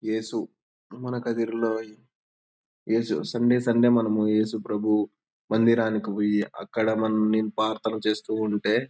యేసు మనకదిరీలోయ్ యేసు Sunday Sunday మనము యేసుప్రభు మందిరానికి పోయి అక్కడ మానింపథాలు చేస్తూ ఉంటే--